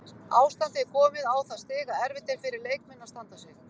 Ástandið er komið á það stig að erfitt er fyrir leikmenn að standa sig.